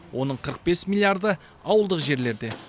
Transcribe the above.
оның қырық бес миллиарды ауылдық жерлерде